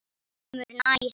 Kemur nær.